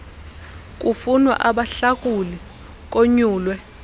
kufunwa abahlakuli konyulwe